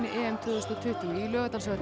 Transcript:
EM tvö þúsund og tuttugu í Laugardalshöll